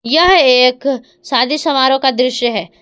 यह एक शादी समारोह का दृश्य है।